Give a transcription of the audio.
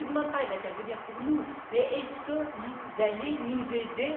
On ne vous demande pas d'intervenir pour nous, mais est ce que vous allez nous aider?